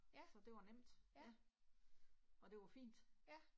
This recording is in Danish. Ja, ja. Ja